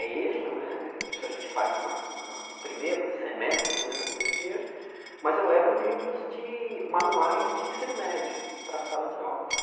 É eja né, isso a gente faz na na no primeiro semestre do curso de eja, mas eu levo livros de, manuais de ensino médio para a sala de aula.